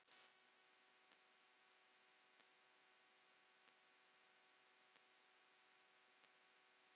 Þetta voru miklir kallar.